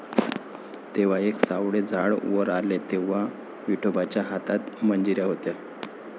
तेव्हा एक सावळे झाड वर आले, तेव्हा विठोबाच्या हातात मंजिऱ्या होत्या.